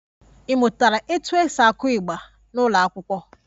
Ị mụtara otú e si aku igba n'ụlọ akwụkwọ?